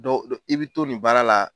Dɔw i bɛ to nin baara la.